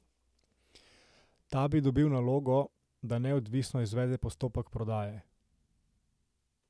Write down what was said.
Ta bi dobil nalogo, da neodvisno izvede postopek prodaje.